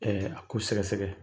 Ɛɛ a ko sɛgɛsɛgɛ.